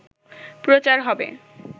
প্রচার হবে